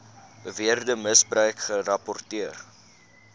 beweerde misbruik gerapporteer